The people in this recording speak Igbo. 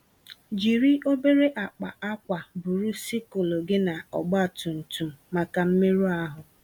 Jiri obere akpa akwa buru sikụl gị na ọgba tum tum màkà mmerụ ahụ.